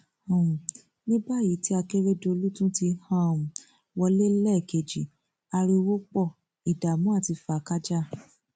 um ní báyìí tí akérédọlù ti tún um wọlé lẹẹkejì ariwo pọ ìdààmú àti fàákàjàá